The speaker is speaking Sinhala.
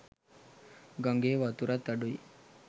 ගඟේ වතුරත් අඩුයි.